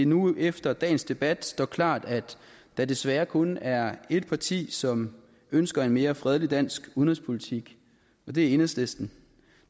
nu efter dagens debat står klart at der desværre kun er ét parti som ønsker en mere fredelig dansk udenrigspolitik og det er enhedslisten